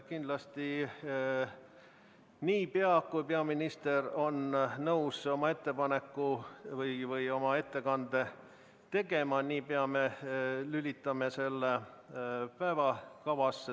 Kindlasti, niipea kui peaminister on nõus oma ettekande tegema, me lülitame selle päevakorda.